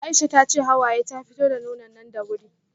Aisha tace Hawaye ta fito da nonon nan da wuri